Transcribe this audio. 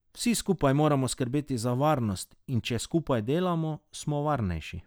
Vsi skupaj moramo skrbeti za varnost, in če skupaj delamo, smo varnejši.